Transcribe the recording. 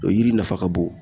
O yiri nafa ka bon